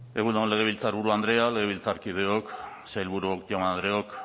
egun on legebiltzarburu andrea legebiltzarkideok sailburuok jaun andreok